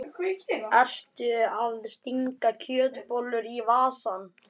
Ertu að stinga kjötbollu í vasann?